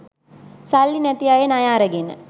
සල්ලි නැති අය ණය අරගෙන